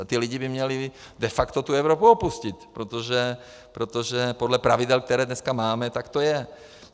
A ti lidé by měli de facto tu Evropu opustit, protože podle pravidel, která dnes máme, tak to je.